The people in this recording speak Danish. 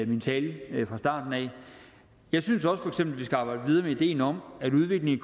min tale fra starten af jeg synes også for eksempel skal arbejde videre med ideen om at udviklingen